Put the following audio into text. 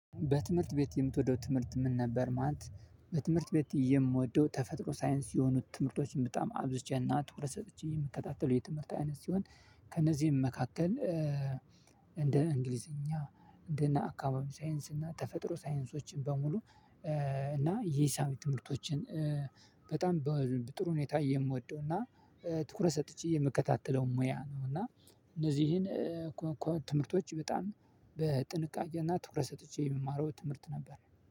በትምህርት ቤት የምትወደው ትምህርት ምን ነበር? ማለት በትምህርት ቤት የምወደው ተፈጥሮ ሳይንስ የሆኑት ትምህርቶችን በጣም አብዝቼና ትኩረት ሰጥቼ የምከታተለው የትምህርት አይነት ሲሆን። ከነዚህም መካከል እንደ እንግሊዝኛ እንደ አካባቢ ሳይንስ እና ተፈጥሮ ሳይንሶችን በሙሉ እና የሂሳብ ትምህርቶችን። በጣም ጥሩ ሁኔታ እየምወደው እና ትኩረ ሰጥቼ የምከታተለው ሙያ ነው። እና እነዚህን ትምህርቶች በጣም በጥንቃቄና ትኩረት ሰጥቼ የምማረው ትምህርት ነበር።